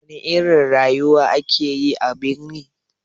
Wana irin rayuwa ake a birni?